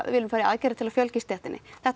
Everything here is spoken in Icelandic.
viljum fara í aðgerðir til að fjölga í stéttinni þetta